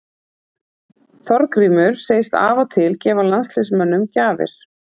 Þorgrímur segist af og til gefa landsliðsmönnum gjafir.